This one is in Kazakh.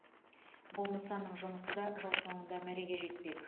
бұл нысанның жұмысы да жыл соңында мәреге жетпек